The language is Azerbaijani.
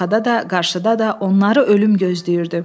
Arxada da, qarşıda da onları ölüm gözləyirdi.